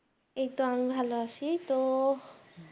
এই তো আমি ভালো আছি তো